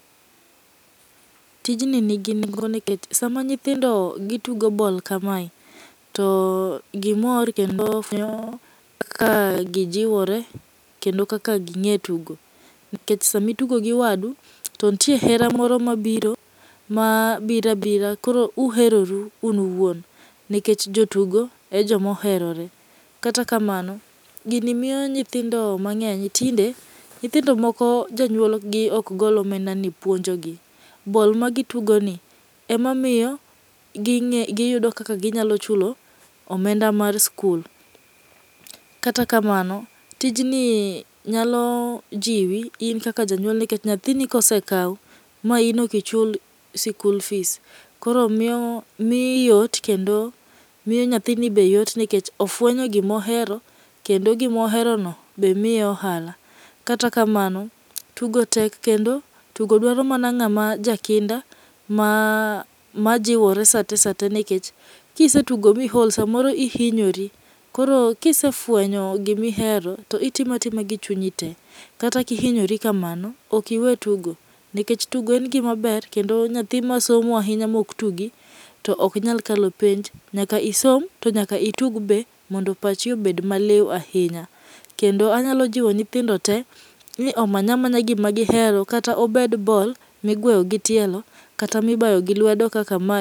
Tijni nigi nengo nikech sama nyithindi gitugo ball kamae, to gimor kendo ka gijiwore kendo kaka ging'e tugo nikech sama itugo gi wadu to nitie hera moro mabiro ma biro abira koro uheroru un uwuon nikech jotigo e joma oherore. Kata kamano, gini miyo nyithindo mang'eny tinde nyithindo moko jonyuol gi ok gol omenda ni puonjogi, ball magitugo ni ema miyo ging'e giyudo kaka ginyalo chulo omenda mar sikul. Kata kamano, tijni nyalo jiwi in kaka janyuol nikech nyathini ka osekaw ma in ok ichul sikul fis koro miyo miyi yot kendo kendo miyo nyathini be yot nikech ofuenyo gima ohero kendo gima oherono be miye ohala kata kamano tugo tek kendo tugo dwaro mana ng'ama jakinda ma majiwore sate sate nikech kisetugo miol samoero ihinyore. Koro ka isefuenyo gima ihero to itimo atima gi chunyi te. Kata ka ihinyori kamano .ok iwe tugo nikech tugo en gima ber kendo nyathi masomo ahinya maok tugi to ok nyal kalo penj nyaka isom to nyaka itug be mondo paachi obed maliw ahinya. Kendo anyalo jiwo nyithindo tee ni omany amanya gima gihero kata obed ball migweyo gitielo kata mibayo gi lwedo kaka ma